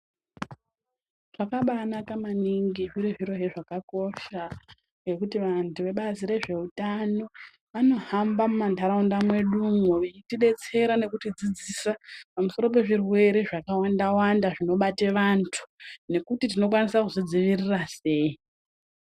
Zvakabai naka maningi zviri zvirozve zvakakosha nekuti vantu vebazi rezve utano vano hamba muma ndaraunda mwedumwo veiti detsera nekuti dzidzisa pamusoro pe zvirwere zvaka wanda wanda zvino bate vantu nekuti tino kwanise kuzvi dzivirira sei.